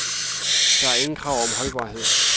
Der er ingen krav om holdbarhed.